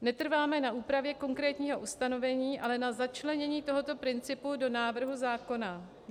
Netrváme na úpravě konkrétního ustanovení, ale na začlenění tohoto principu do návrhu zákona.